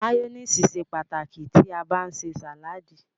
Máyónísì ṣe pàtàkì tí a bá ń ṣe sàládì.